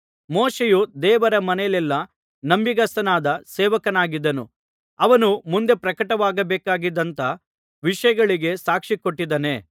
ಮೋಶೆಯು ದೇವರ ಮನೆಯಲ್ಲೆಲ್ಲಾ ನಂಬಿಗಸ್ತನಾದ ಸೇವಕನಾಗಿದ್ದನು ಅವನು ಮುಂದೆ ಪ್ರಕಟವಾಗಬೇಕಾಗಿದ್ದಂಥ ವಿಷಯಗಳಿಗೆ ಸಾಕ್ಷಿಕೊಟ್ಟಿದ್ದಾನೇ